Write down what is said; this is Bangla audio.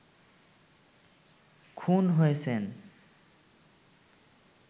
খুন হয়েছেন